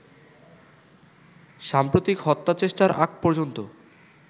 সাম্প্রতিক হত্যাচেষ্টার আগ পর্যন্ত